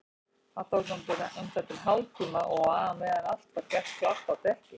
Það tók um það bil hálftíma og á meðan var allt gert klárt á dekki.